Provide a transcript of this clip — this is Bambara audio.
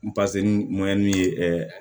ye